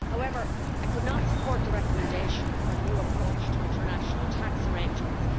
However, I could not support the recommendation for a new approach to international tax arrangements.